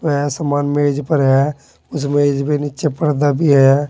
नया सामान मेज पर है उस मेज पे नीचे पर्दा भी है।